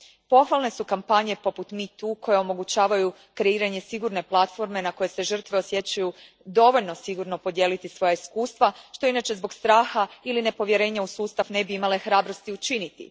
Pohvalne su kampanje poput Metoo koje omogućavaju kreiranje sigurne platforme na kojoj se žrtve osjećaju dovoljno sigurno podijeliti svoja iskustva, što inače zbog straha ili nepovjerenja u sustav ne bi imale hrabrosti učiniti.